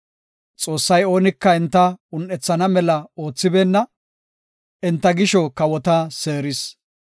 Xoossay oonika enta un7ethana mela oothibeenna; enta gisho kawota seeris.